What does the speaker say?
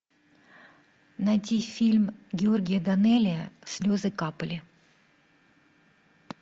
найти фильм георгия данелия слезы капали